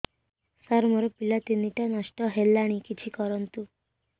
ସାର ମୋର ପିଲା ତିନିଟା ନଷ୍ଟ ହେଲାଣି କିଛି କରନ୍ତୁ